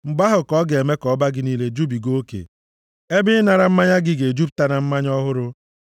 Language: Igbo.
Mgbe ahụ ka ọ ga-eme ka ọba gị niile jubigakwa oke, ebe ịnara mmanya gị ga-ejupụta na mmanya ọhụrụ.